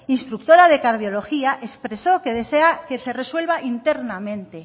instructora de cardiología expresó que desea que se resuelva internamente